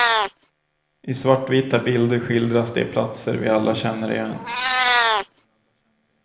I svartvita bilder skildras de platser vi alla känner igen.